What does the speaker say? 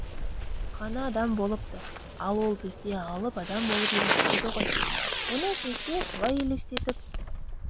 ғана адам болыпты ал ол бізге алып адам болып елестейді ғой оны бізге солай елестетіп